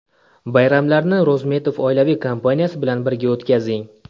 Bayramlarni Rozmetov oilaviy kompaniyasi bilan birga o‘tkazing.